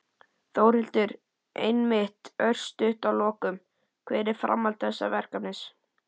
Þórhildur: Einmitt, örstutt að lokum, hvert er framhald þessa verkefnis?